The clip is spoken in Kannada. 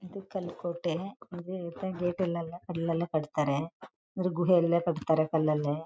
ಇದು ಕಾಲು ಕೋಟೆ ಗೇಟ್ ಯಲ್ಲ ಕಲ್ಲಲ್ಲೇ ಕಟ್ಟುತ್ತಾರೆ ಗುಡಿಯಲ್ಲ ಕಡ್ತಾರೆ ಕಲ್ಲಲ್ಲೇ--